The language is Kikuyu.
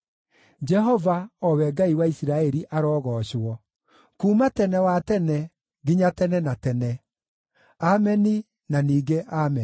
Jehova, o we Ngai wa Isiraeli, arogoocwo, kuuma tene wa tene nginya tene na tene. Ameni, na ningĩ Ameni.